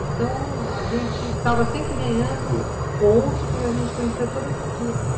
Então, a gente estava sempre ganhando pontos porque a gente conhecia toda essa turma.